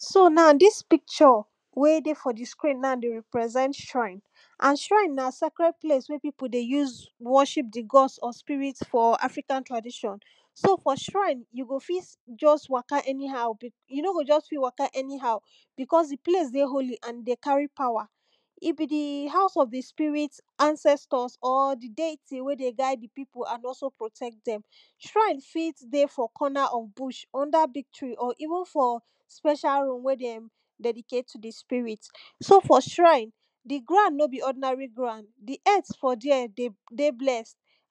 so na dis icture wen dey fr di screen na dey represent shrine. and shrine na scred place where pipu dey use worship di gods of spirit for african tradition. so for shrine, you go fit just waka anhow you no go just fit waka anyhow because di place dey holy and e dey carry power. e be di house of di sprit ancestors or di deity wey dey guid di pipu and also protect dem. shrine fit dey for corner of bush under big tree or even for specia room wey de dedecatie to di spirit. so for shrine, di ground no b ordinary ground di earth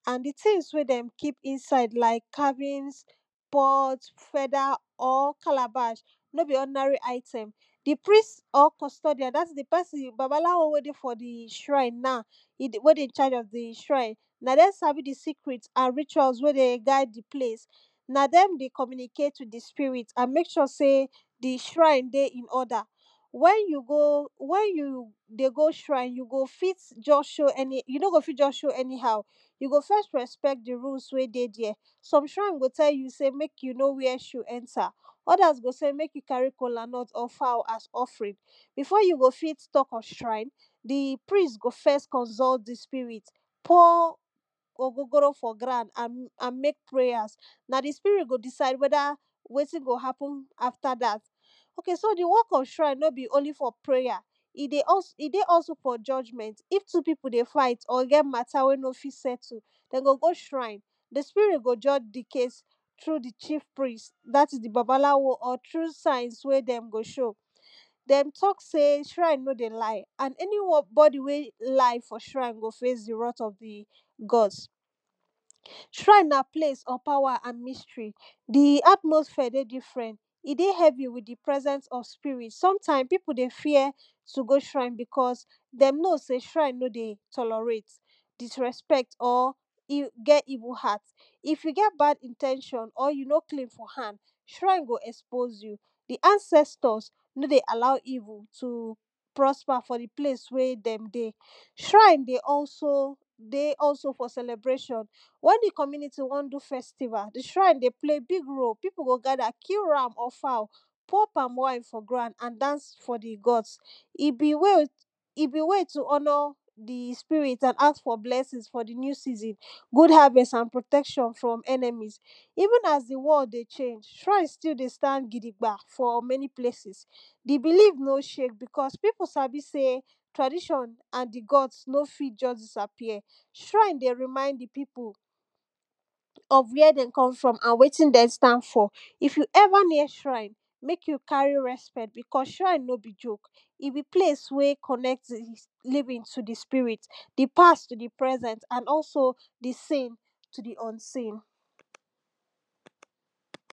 and di tins wey dem keep inside na carbins pot, feathers, or calabash, no be ordinary item. di riest or custodian dat is di babalawo wey dey for di shrine now, wey de charge of di shrine na dem sabi di screte and rituals wey dey guid di place. na dem dey communicate with di spirit and mek sure sey di shrine dey in order. wen you dey go shrin, you no go fit dey show anyhow, you go first respect di rules wey firt dey there some srine go tell you sey mek you no wear shoe enter other go sey mek you carry kolanut and fowl as offering before you go fit talk of shrine, di priest go first consult di spirit pour ogogoro for ground and mek prayers. na di spirit go decide weda weti go apen after dat. ok so di work of shrine no be only for prayer ed dey also for judgement if two pipu dey fight or get matta wey no fit ettle, den go go shrine di sirit go judge di case. through di chief priest dat is di babalawo or thrugh signs wey den go show.dem talk sey shrine no dey lie and anyone we lie for srin go face di wrath of di gods. shrine na place for power and mystery. di atmossphere dey diffrent e dey every sometimes pipu dey fear to go shrine because dem know sey shrine no dey tolorate. disrespect or get evil heart if you get bad in ten tion or you no clean for hand, shrin go expose you di ancestors no dey allow evil to prosper for di place where dem dey. shrine dey also ey also for celebration wen di community won do festival, di shrine dey play big role di community go gather kill ram or fowl pour palm wine for ground and dance for di gods. e be way e be way t honor di spirit and ask for blessingsto honour dinew season and protection from enemies. even as di wall dey shake, shrin still dey stand gidigbam for many places. di believe no shake because piu sabi sey traditin and di gods no fit just disappear. shrine dey remind di pipu of where dem come from and wetin dem stand for. if you ever ear shrine, mek you carry respect because shrine no be joke e be place where connect living to di spirit, di past to di present and also di seen to di unsen